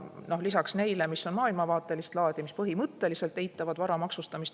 on maailmavaatelist laadi ja põhimõtteliselt eitavad vara maksustamist.